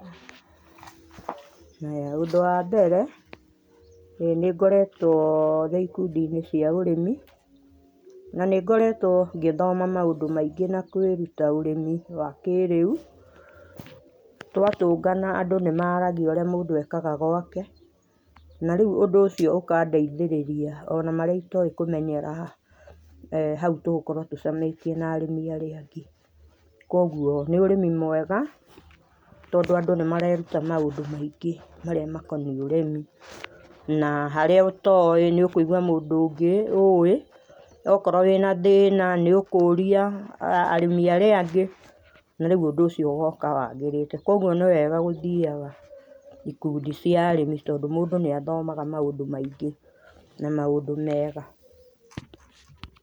Haya, ũndũ wa mbere nĩ ngoretwo ndĩ ikũndiinĩ cia ũrĩmi, na nĩ ngoretwo ngĩthoma maũndũ maingĩ na kwĩruta ũrĩmi wa kĩrĩu, twatũngana andũ nĩ maragia ũrĩa mũndũ ekaga gwake, na rĩu ũndũ ũcio ũkandeithĩrĩria ona marĩa itoĩ ngũmenyera hau tũgũkorwo tũcemanĩtie na arĩmi arĩa angĩ. Koguo nĩ ũrĩmi mwega, tondũ andũ nĩ mareruta maũndũ maingĩ marĩa makoniĩ ũrimĩ, na harĩa ũtoĩ nĩ ũkũigua mũrimĩ ũngĩ ũĩ okorwo wĩ na thĩna, nĩ ũkũria arĩmĩ arĩa angĩ, na rĩu ũndũ ũcio ũgoka wagĩrĩte. Koguo nĩ wega gũthiaga ikundi cia arĩmi tondũ mũndũ nĩ athomaga maũndũ maingĩ na maũndũ mega.